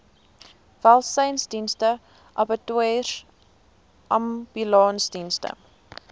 welsynsdienste abattoirs ambulansdienste